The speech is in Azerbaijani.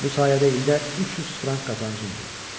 Bu sayədə ildə 300 frank qazancom olur.